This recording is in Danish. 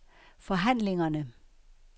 forhandlingerne